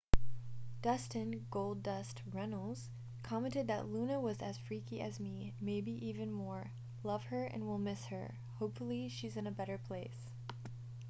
dustin goldust runnels commented that luna was as freaky as me...maybe even more...love her and will miss her...hopefully she's in a better place.